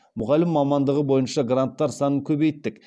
мұғалім мамандығы бойынша гранттар санын көбейттік